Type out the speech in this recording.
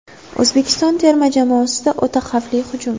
O‘zbekiston terma jamoasida o‘ta xavfli hujum.